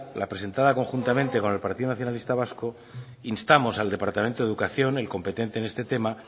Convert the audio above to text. la presentada conjuntamente con el partido nacionalista vasco instamos al departamento de educación el competente en este tema